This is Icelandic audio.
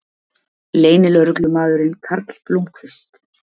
Leynilögreglumaðurinn Karl Blómkvist